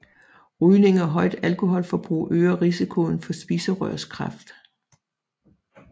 Rygning og højt alkoholforbrug øger risikoen for spiserørskræft